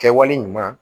Kɛwale ɲuman